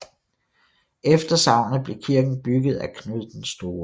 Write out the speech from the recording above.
Efter sagnet blev kirke bygget af Knud den Store